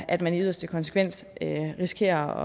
at man i yderste konsekvens risikerer